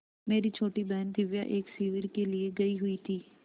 मेरी छोटी बहन दिव्या एक शिविर के लिए गयी हुई थी